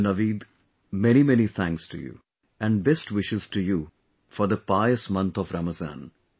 Dr Naveed many many thanks to you, and best wishes to you for the pious month of Ramazan